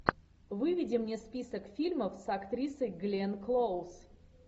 выведи мне список фильмов с актрисой гленн клоуз